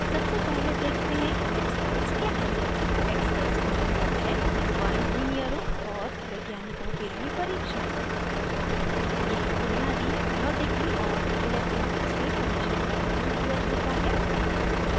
सबसे पहले देखते हैं expeyes क्या है